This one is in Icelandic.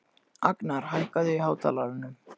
Agnar, hækkaðu í hátalaranum.